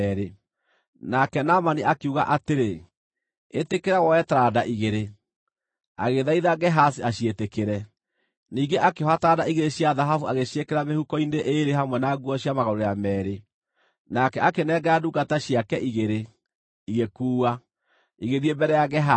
Nake Naamani akiuga atĩrĩ, “Ĩtĩkĩra woe taranda igĩrĩ.” Agĩthaitha Gehazi aciĩtĩkĩre, ningĩ akĩoha taranda igĩrĩ cia thahabu agĩciĩkĩra mĩhuko-inĩ ĩĩrĩ hamwe na nguo cia magarũrĩra meerĩ. Nake akĩnengera ndungata ciake igĩrĩ, igĩkuua, igĩthiĩ mbere ya Gehazi.